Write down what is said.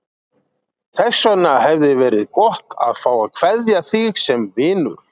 Þess vegna hefði verið gott að fá að kveðja þig sem vinur.